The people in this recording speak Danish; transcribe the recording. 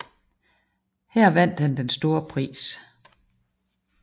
Her vandt han den store Pris